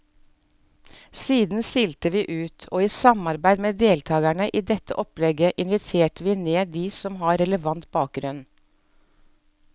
Siden silte vi ut, og i samarbeid med deltagerne i dette opplegget inviterte vi ned de som har relevant bakgrunn.